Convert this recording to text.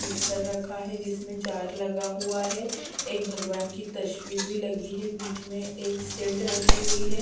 Mixer रखा है जिसमे जार लगा हुआ है एक भगवान की तस्वीर भी लगी है बीच में एक सील्ड रखी हुई है ।